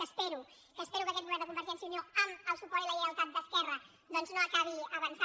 ho espe·ro que espero que aquest govern de convergència i unió amb el suport i la lleialtat d’esquerra doncs no acabi avançant